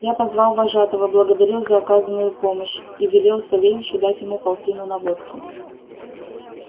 я позвал вожатого благодарил за оказанную помощь и велел савельичу дать ему полтину на водку